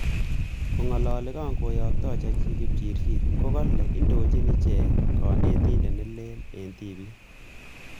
Kongalali kangotyakta chechik kipchirchir kokale indochin ichek ko kanetindet nelel eng tipik